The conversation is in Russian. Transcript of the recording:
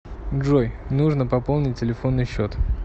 джой нужно пополнить телефонный счет